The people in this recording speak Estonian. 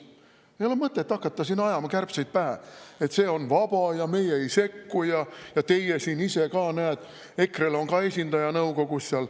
Ei ole mõtet hakata ajama kärbseid pähe, et see on vaba ja meie ei sekku ja teil endal, EKRE-l, näed, on esindaja seal nõukogus.